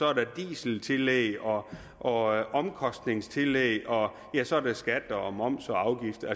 er der dieseltillæg og og omkostningstillæg og så er der skatter og moms og afgifter